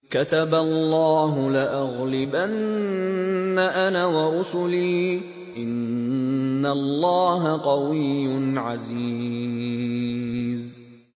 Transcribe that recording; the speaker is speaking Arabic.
كَتَبَ اللَّهُ لَأَغْلِبَنَّ أَنَا وَرُسُلِي ۚ إِنَّ اللَّهَ قَوِيٌّ عَزِيزٌ